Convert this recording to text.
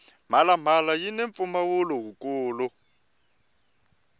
mhala mhala yini mpfumawulo wu kulu